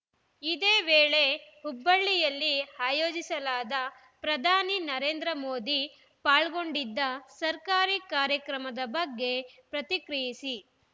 ಇದೇ ವೇಳೆ ಹುಬ್ಬಳ್ಳಿಯಲ್ಲಿ ಆಯೋಜಿಸಲಾದ ಪ್ರಧಾನಿ ನರೇಂದ್ರ ಮೋದಿ ಪಾಲ್ಗೊಂಡಿದ್ದ ಸರ್ಕಾರಿ ಕಾರ್ಯಕ್ರಮದ ಬಗ್ಗೆ ಪ್ರತಿಕ್ರಿಯಿಸಿ